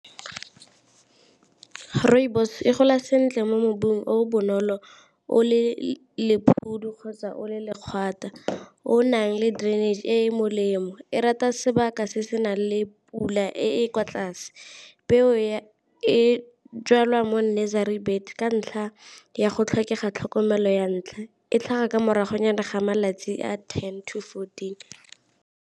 Rooibos e gola sentle mo mobung o bonolo o le kgotsa o le , o nang le drainage e molemo, e rata sebaka se se nang le pula e kwa tlase. Peo e jalwa mo nursery bed ka ntlha ya go tlhokega tlhokomelo ya ntlha, e tlhaga ka morago nyana ga malatsi a ten to fourteen.